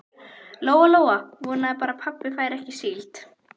Lóa Lóa vonaði bara að pabbi færi ekki á síld.